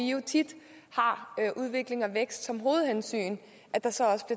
tit har udvikling og vækst som hovedhensyn